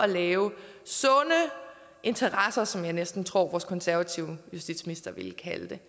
lave sunde interesser som jeg næsten tror vores konservative justitsminister ville kalde det